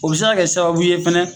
O be se ka kɛ sababu ye fɛnɛ